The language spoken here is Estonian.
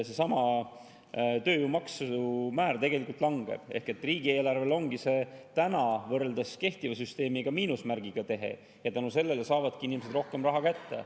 Seesama tööjõumaksu määr tegelikult langeb ehk riigieelarvele ongi see praegu võrreldes kehtiva süsteemiga miinusmärgiga tehe ja tänu sellele saavadki inimesed rohkem raha kätte.